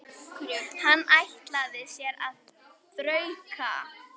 Hann ætlaði sér að þrauka.